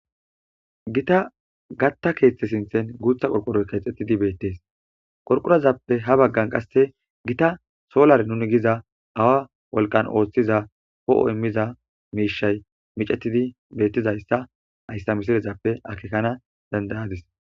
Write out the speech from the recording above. gita gatta keeththe sinthen guutha qorqoroy keexxettidi beettees qorqorazappe ha baggan qasse gita solare nuni giza awa wolqan ooththiza ho7o immiza miishay micetidi bettizayssa ayssa misilezappe akekana dandayadis